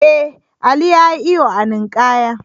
Ee, Ali ya yi iyo a ninkaya.